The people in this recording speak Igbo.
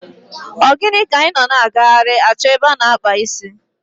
Ogini ka i no na aghari acho ebe ana akpu isi?